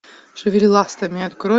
шевели ластами открой